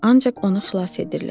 Ancaq onu xilas edirlər.